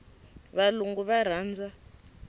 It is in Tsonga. valungu va rhandza